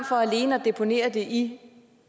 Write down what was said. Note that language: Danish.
for alene at deponere det i